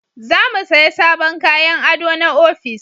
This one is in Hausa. Za mu saya sabon kayan ado na ofis